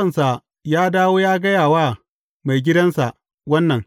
Bawansa ya dawo ya gaya wa maigidansa wannan.